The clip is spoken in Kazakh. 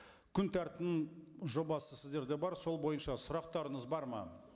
күн тәртібінің жобасы сіздерде бар сол бойынша сұрақтарыңыз бар ма